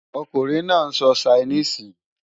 Ọkùnrin náà ń sọ Ṣainíìsì